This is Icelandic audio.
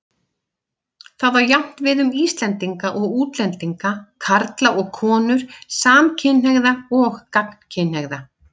Það á jafnt við um Íslendinga og útlendinga, karla og konur, samkynhneigða og gagnkynhneigða.